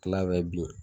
Kila ka bin